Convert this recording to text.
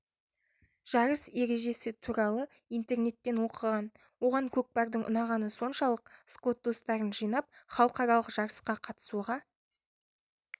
жарыс ережесі туралы интернеттен оқыған оған көкпардың ұнағаны соншалық скот достарын жинап халықаралық жарысқа қатысуға